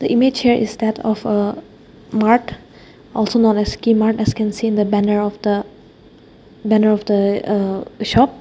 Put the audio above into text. image here is that of a mart also known as kimart as can see in the banner of the banner of the uh uh shop.